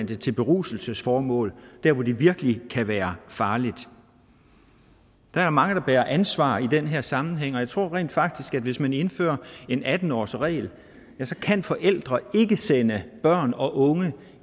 det til beruselsesformål hvor det virkelig kan være farligt der er mange der bærer et ansvar i den her sammenhæng og jeg tror rent faktisk at hvis man indfører en atten årsregel kan forældre ikke sende børn og unge